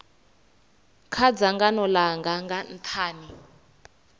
kha dzangano langa nga nthani